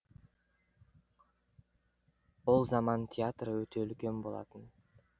ол заман театры өте үлкен болатын